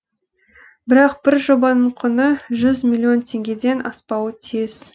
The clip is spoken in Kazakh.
бірақ бір жобаның құны жүз миллион теңгеден аспауы тиіс